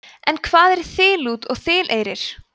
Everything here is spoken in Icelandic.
en hvað er þiliút og þilieyrir